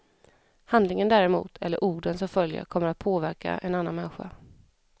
Handlingen däremot, eller orden som följer kommer att påverka en annan människa.